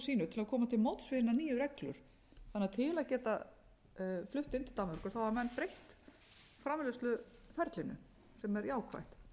að koma til móts við hinar nýju reglur til að geta flutt inn til danmerkur hafa menn breytt framleiðsluferlinu sem er jákvætt